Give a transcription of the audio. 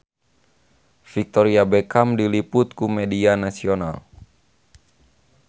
Victoria Beckham diliput ku media nasional